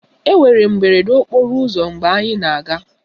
Enwere mberede okporo ụzọ mgbe anyị na-aga